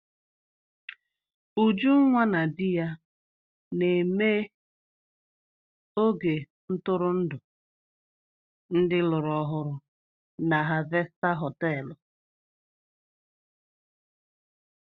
Ujunwa na di ya na-eme oge ntụrụndụ ndị lụrụ ọhụrụ na Harvester họtelu.